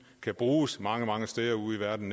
kan bruges mange mange steder ude i verden